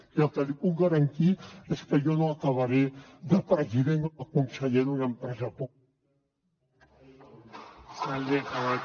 i el que li puc garantir és que jo no acabaré de president o conseller d’una empresa